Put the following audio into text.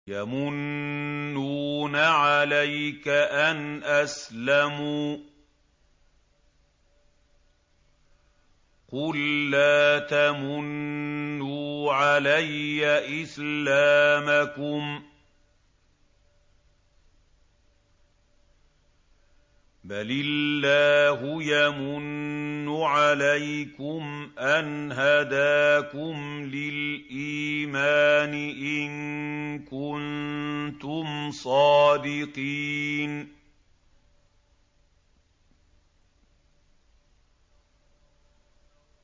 يَمُنُّونَ عَلَيْكَ أَنْ أَسْلَمُوا ۖ قُل لَّا تَمُنُّوا عَلَيَّ إِسْلَامَكُم ۖ بَلِ اللَّهُ يَمُنُّ عَلَيْكُمْ أَنْ هَدَاكُمْ لِلْإِيمَانِ إِن كُنتُمْ صَادِقِينَ